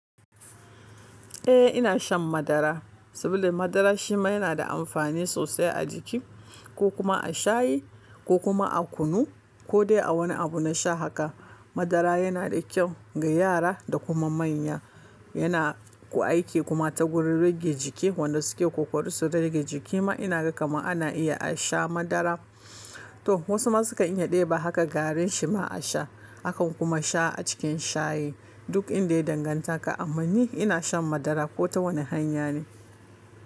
Eh ina shan madara saboda madara shi ma yana da amfani sosai a jiki ko kuma a shayi ko kuma a kunu ko dai a wani abu na sha haka. Madara yana da kyau ga yara da kuma manya. Yana ku aiki kuma ta gurin rage jiki wanda suke ƙoƙari su rage jiki ma ina ga kamar ana iya a sha madara. To wasu ma sukan iya ɗeba haka garin shi ma a sha akan kuma sha a cikin shayi duk inda ya danganta ka. Amma ni ina shan madara ko ta wani hanya ne.